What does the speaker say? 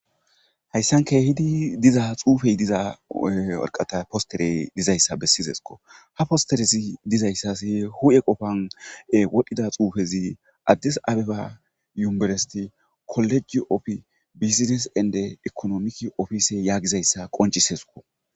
Hayssanka hidi diza xuufey diza warqata posterey dizayssa bessizesko ha posterezi dizayssas hu7e qofan wodhdhida xuufezi addis abiba yuberesti kolleji opfi bizines ende ekonomiki ofisey yaagizayssa qoncisesko